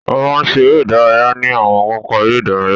A máa ń ṣe eré ìdárayá ní àwọn pápá eré ìdárayá.